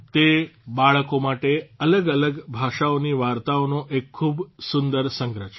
તે બાળકો માટે અલગ અલગ ભાષાઓની વાર્તાઓનો એક ખૂબ સુંદર સંગ્રહ છે